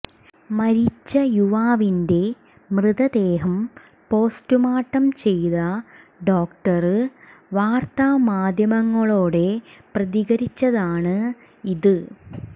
മരിച്ച യുവാവിന്റെ മ്യതദേഹം പോസ്റ്റുമാര്ട്ടം ചെയ്ത ഡോക്ടര് വാര്ത്താമാധ്യങ്ങളോടെ പ്രതികരിച്ചതാണ് ഇത്